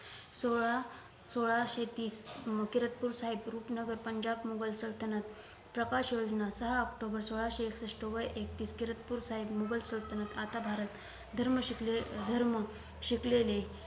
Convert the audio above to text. सोळा सोळाशे तीस किरतपूर साहेब रुपनगर पंजाब मुघल सलतनत प्रकाश योजना सहा ऑक्टोबर सोळाशे एकषष्ठ वय एकतीस किरातपूर साहेब मुघल सल्तनत आता भारत धर्म शिकले धर्म शिकलेले